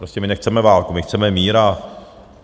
Prostě my nechceme válku, my chceme mír.